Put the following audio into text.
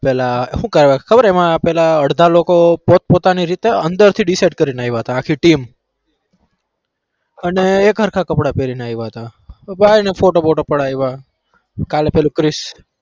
પેલા હું કેવાય ખબર એમાં પેલા અડધા લોકો પોત પોતાની રીતે અંદરથી decide કરીને આયા હતા આખી team અને એક હરખા કપડા પેરીને આયવા હતા તો જાય અને ફોટો-વોટો પડાયવા. કાલે પેલો ક્રીશ